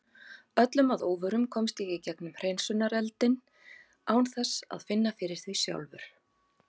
Öllum að óvörum komst ég í gegnum hreinsunareldinn án þess að finna fyrir því sjálfur.